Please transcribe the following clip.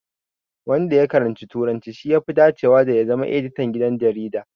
Wanda ya karanci Turanci, ya fi dacewa da zama Editan gidan jarida.